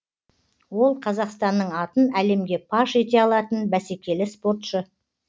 ол қазақстанның атын әлемге паш ете алатын бәсекелі спортшы